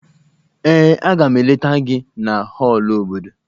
Ee, Aga m eleta gị na họọlụ obodo